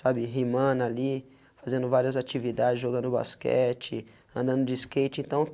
Sabe, rimando ali, fazendo várias atividades, jogando basquete, andando de skate então,